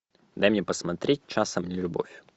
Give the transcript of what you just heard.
дай мне посмотреть часом не любовь